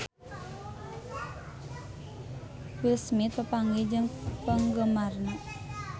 Will Smith papanggih jeung penggemarna